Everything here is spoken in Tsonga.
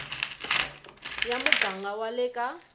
ya muganga wa le ka